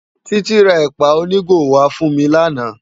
Titi rá èpá ónigó wá fún mi làná